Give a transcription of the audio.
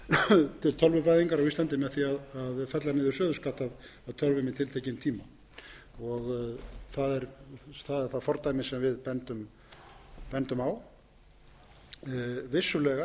hvata til tölvuvæðingar á íslandi með því að fella niður söluskatt af tölvum í tiltekinn tíma það er það fordæmi sem við bendum á vissulega er það rétt að bæði um